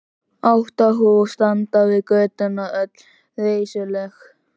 Átta hús standa við götuna, öll reisuleg.